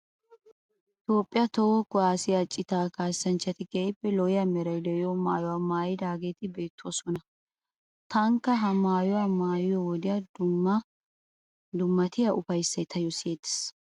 Toophphiya toho kuwaassiya citaa kaassanchchati keehippe lo'iya meray de'iyo maayuwa maayidageeti beettoosona. Taanikka ha maayuwa maayiyo wodiyan dummatiya ufayissay taayyo siyettees.